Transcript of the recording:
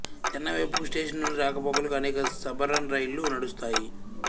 చెన్నై వైపుకు స్టేషన్ నుండి రాకపోకలుకు అనేక సబర్బన్ రైళ్ళు నడుస్తాయి